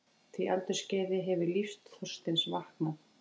því aldursskeiði hefur lífsþorstinn vaknað.